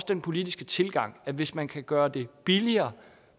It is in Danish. den politiske tilgang til at hvis man kan gøre det billigere